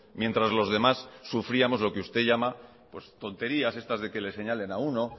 mientras los demás sufríamos lo que usted llama tonterías estas de que le señalen a uno